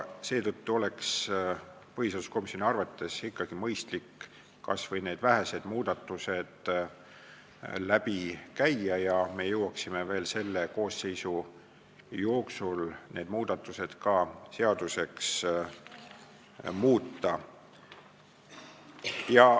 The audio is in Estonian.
Seetõttu oleks põhiseaduskomisjoni arvates ikkagi mõistlik kas või need vähesed muudatused läbi käia ja me jõuaksime veel selle koosseisu jooksul need ka seaduseks muuta.